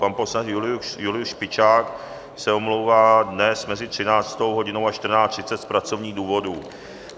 Pan poslanec Julius Špičák se omlouvá dnes mezi 13. hodinou a 14.30 z pracovních důvodů.